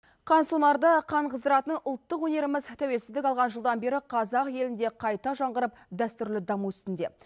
қансонарда қан қыздыратын ұлтық өнеріміз тәуелсіздік алған жылдан бері қазақ елінде қайта жаңғырып дәстүрлі даму үстінде